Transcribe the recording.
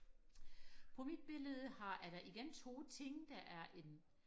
på mit billede har er der igen to ting der er en